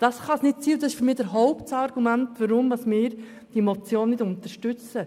Das kann es nicht sein, und das ist für mich das Hauptargument, weshalb wir diese Motion nicht unterstützen.